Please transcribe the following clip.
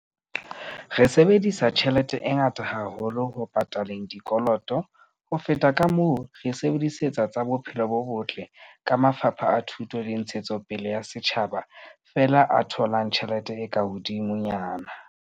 Re sebedisa tjhelete e ngata haholo ho pataleng dikoloto, ho feta kamoo re e sebedisetsang tsa bophelo bo botle, ke mafapha a thuto le ntshetsopele ya setjhaba fela a tholang tjhelete e ka hodimo nyana.